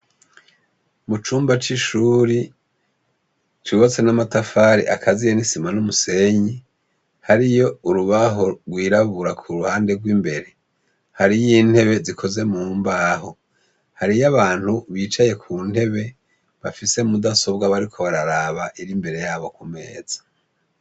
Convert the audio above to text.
Mucumba c'ishuri, cubatse n'amatafari akaziye n'isima n'umusenyi. Hariyo urubaho rw'irabura kuruhande rw'imbere. Hariy'intebe zikoze mu mbaho. Hariyo abantu bicaye kuntebe bafise mudasobwa bariko bararaba iri imbere yabo ku meza.